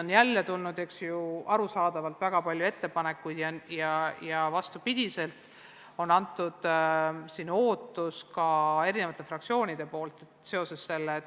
Arusaadavalt on tulnud jälle väga palju ettepanekuid ning eri fraktsioonidel on ootus, et seoses äsjase